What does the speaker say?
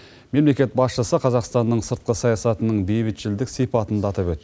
мемлекет басшысы қазақстанның сыртқы саясатының бейбітшілдік сипатын да атап өт